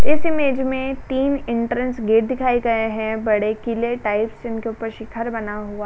इस इमेज में तीन एंट्रेंस गेट दिखाए गए हैं बड़े किले टाइपस इनके उपर शिखर बना हुआ --